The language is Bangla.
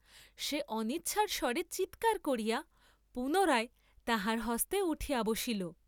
সে অনিচ্ছার স্বরে চীৎকার করিয়া পুনরায় তাহার হস্তে উঠিয়া বসিল।